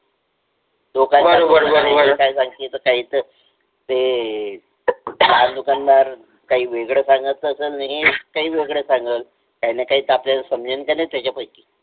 ते हा दुकानदार काहि वेगळ सांगत असेल तो वेगळ सांगेल काहीं ना काही आपल्याला समजेल कि नाही त्याच्या पाशी